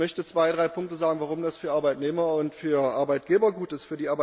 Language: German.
Ich möchte zwei, drei Punkte sagen, warum das für Arbeitnehmer und für Arbeitgeber gut ist.